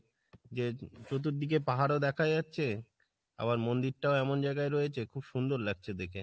যে চতুর্দিকে পাহাড় দেখা যাচ্ছে আবার মন্দিরটাও এমন জায়গায় রয়েছে খুব সুন্দর লাগছে দেখে।